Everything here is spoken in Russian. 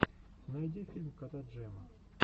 найди фильм кота джема